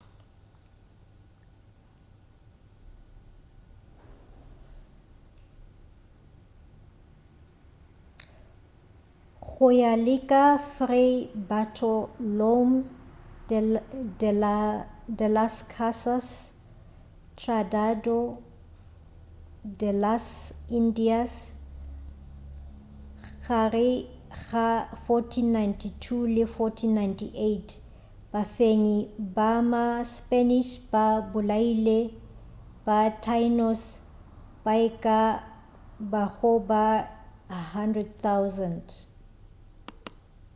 go ya le ka fray bartolomé de las casas tratado de las indias gare ga 1492 le 1498 bafenyi ba ma spanish ba bolaile ba taínos ba e ka bago ba 100,000